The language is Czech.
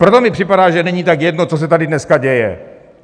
Proto mi připadá, že není tak jedno, co se tady dneska děje.